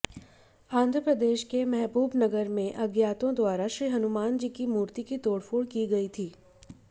आंध्रप्रदेशके मेहबूबनगरमें अज्ञातोंद्वारा श्री हनुमानजीकी मूर्तिकी तोडफोड की गई थी